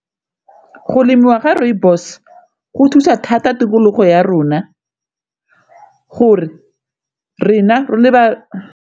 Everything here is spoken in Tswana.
Go lemiwa ga rooibos go thusa thata tikologo ya rona gore rena re le ba.